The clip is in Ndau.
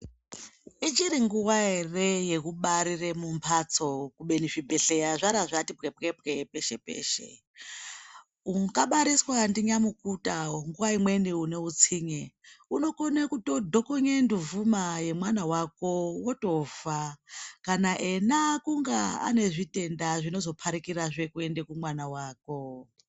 Ichiringuva ere yekubarire mumbatso kubeni zvibhedhlera zvarazvati pwepwepwe peshe peshe ungabariswa ndinyamukuta nguva imweni uneutsinye unokone kutodhokonye nduvhuma yemwana wako wotofa kana ena kunga anezvitenda zvinozoparikirazve kuende kumwana wako.